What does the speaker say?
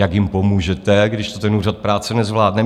Jak jim pomůžete, když to ten Úřad práce nezvládne?